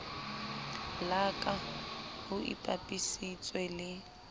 la ka ho ipapisitswe le